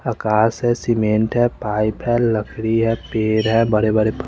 आकाश है सीमेंट है पाइप है लकड़ी है पेड़ है बड़े बड़े--